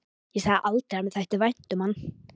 Ég sagði aldrei að mér þætti vænt um hann.